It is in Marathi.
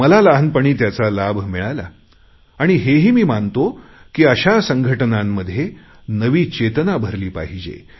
मला लहानपणी त्याचा लाभ मिळाला आणि हेही मी मानतो की अशा संघटनांमध्ये नवी चेतना भरली पाहिजे